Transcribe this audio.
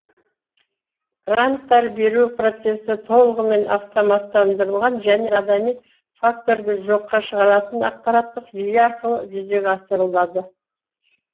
гранттар беру процесі толығымен автоматтандырылған және адами факторды жоққа шығаратын ақпараттық жүйе арқылы жүзеге асырылады